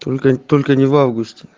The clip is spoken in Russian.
только только не в августе